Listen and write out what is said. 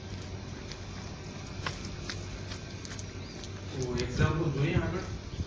તો એક્ષામપ્લે જોયિયે આગળ